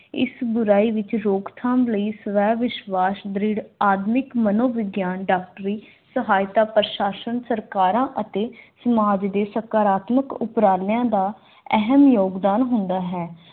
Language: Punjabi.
ਇਸ ਬੁਰਾਈ ਦੀ ਰੋਕਥਾਮ ਲਈ ਸਵੈ ਵਿਸ਼ਵਾਸ਼ ਦ੍ਰਿੜ ਆਧੁਨਿਕ ਮਨੋਵਿਗਿਆਨਿਕ ਡਾਕਟਰੀ ਸਹਾਇਤਾ ਪ੍ਰਸ਼ਾਸਨ ਸਰਕਾਰਾਂ ਅਤੇ ਸਮਾਜ ਦੇ ਸਕਾਰਾਤਮਕ ਉਪਰਾਲਿਆਂ ਦਾ ਅਹਿਮ ਯੋਗਦਾਨ ਹੁੰਦਾ ਹੈ